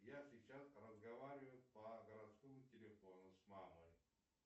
я сейчас разговариваю по городскому телефону с мамой